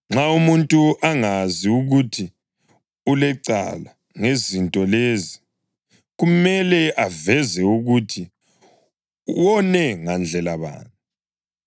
nxa umuntu angazi ukuthi ulecala ngezinto lezi, kumele aveze ukuthi wone ngandlela bani.